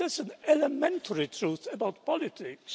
That is an elementary truth about politics.